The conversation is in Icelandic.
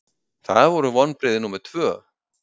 Það voru vonbrigði númer tvö.